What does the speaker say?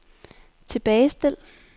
tilbagestil